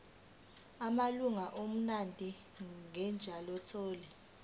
amalunga omndeni njengenyathelo